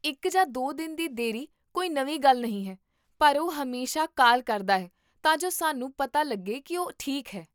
ਇੱਕ ਜਾਂ ਦੋ ਦਿਨ ਦੀ ਦੇਰੀ ਕੋਈ ਨਵੀਂ ਗੱਲ ਨਹੀਂ ਹੈ, ਪਰ ਉਹ ਹਮੇਸ਼ਾ ਕਾਲ ਕਰਦਾ ਹੈ ਤਾਂ ਜੋ ਸਾਨੂੰ ਪਤਾ ਲੱਗੇ ਕੀ ਉਹ ਠੀਕ ਹੈ